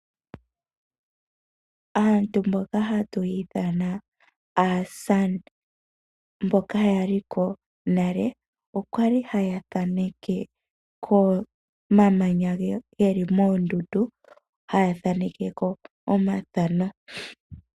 Asntu mboka ha tu ya ithana, aakwankala mboka ya liko nale, okwa li ha ya thaneke komamanya ge li mondundu, ha ya thanekeko omathano.